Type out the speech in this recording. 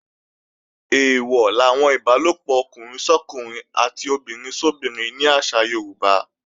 Eèwọ̀ làwọn ìbálòpọ̀ ọkùnrin sọ́kùnrin àti obìnrin sóbinrin ní àṣà Yorùbá